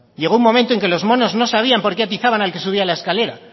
llego un momento en que los monos no sabían por qué atizaban al que subía la escalera